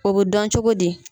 O bɛ dɔn cogo di.